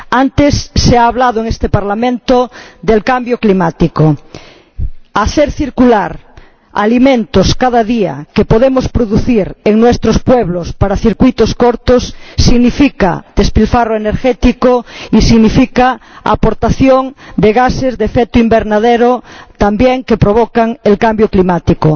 Antes se ha hablado en este Parlamento del cambio climático hacer circular cada día alimentos que podemos producir en nuestros pueblos para circuitos cortos significa despilfarro energético y significa emisión de gases de efecto invernadero, que también provocan el cambio climático.